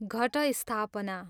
Ghatasthapana